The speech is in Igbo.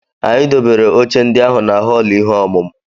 Anyị dobere oche ndị ahụ na họọlụ ihe ọmụmụ.